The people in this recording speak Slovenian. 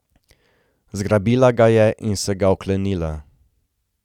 Zgrabila ga je in se ga oklenila.